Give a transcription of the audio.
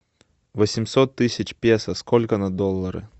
восемьсот тысяч песо сколько на доллары